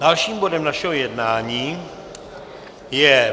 Dalším bodem našeho jednání je